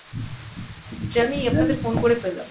যে আমি আপনাদের phone করে পেলাম।